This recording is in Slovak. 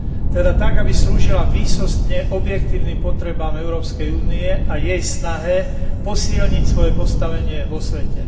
Teda tak, aby slúžila výsostne objektívnym potrebám Európskej únie a jej snahe posilniť svoje postavenie vo svete.